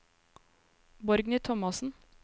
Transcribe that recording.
Borgny Thomassen